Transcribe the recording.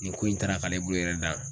Nin ko in taara k'ale bolo yɛrɛ dan